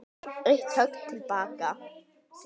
Eitt högg til baka.